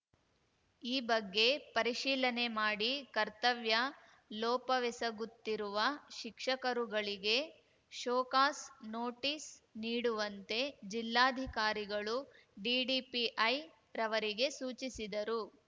ಈ ಬಗ್ಗೆ ಪರಿಶೀಲನೆ ಮಾಡಿ ಕರ್ತವ್ಯ ಲೋಪವೆಸಗುತ್ತಿರುವ ಶಿಕ್ಷಕರುಗಳಿಗೆ ಷೋಕಾಸ್‌ ನೋಟಿಸ್‌ ನೀಡುವಂತೆ ಜಿಲ್ಲಾಧಿಕಾರಿಗಳು ಡಿಡಿಪಿಐ ರವರಿಗೆ ಸೂಚಿಸಿದರು